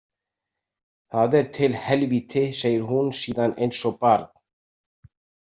Það er til helvíti, segir hún síðan eins og barn.